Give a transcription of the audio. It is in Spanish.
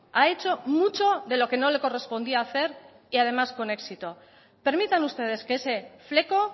ha hecho mucho de lo que no le correspondía hacer y además con éxito permitan ustedes que ese fleco